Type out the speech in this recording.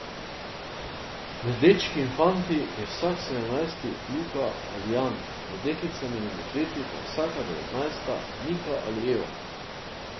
Med dečki in fanti je vsak sedemnajsti Luka ali Jan, med deklicami in dekleti pa je vsaka devetnajsta Nika ali Eva.